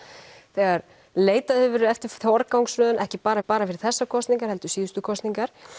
þegar leitað hefur verið eftir forgangsröðun ekki bara bara fyrir þessar kosningar heldur síðustu kosningar